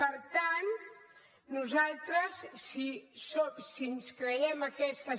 per tant nosaltres si ens creiem aquesta